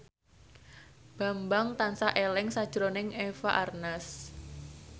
Bambang tansah eling sakjroning Eva Arnaz